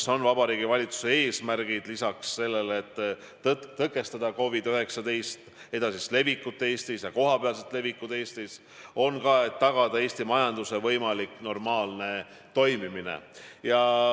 See on Vabariigi Valitsuse lisaeesmärk lisaks sellele, et tõkestada COVID-19 edasist levikut Eestis.